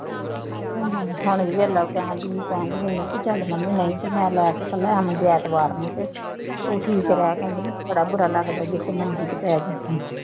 ਹੁਣ ਵੀ ਦੇਖ ਲਉ ਕਹਿਣ ਡੇਈ ਸੀ ਕਹਿਣ ਡੇਈ ਸੀ ਚੱਲ ਮੰਮੀ ਨਹੀਂ ਤੇ ਮੈਂ ਲੈ ਕੇ ਚੱਲ ਆਵਾਂਗੀ ਐਤਵਾਰ ਨੂੰ ਤੇ, ਤੂੰ ਠੀਕ ਰਿਹਾ ਕਰ, ਬੜਾ ਬੁਰਾ ਲੱਗਦੈ ਜੇ ਤੂੰ ਮੰਜ਼ੀ ਤੇ ਪੈ ਜਾਏਂ